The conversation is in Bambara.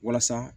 Walasa